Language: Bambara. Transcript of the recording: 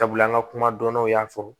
Sabula an ka kuma dɔnnaw y'a fɔ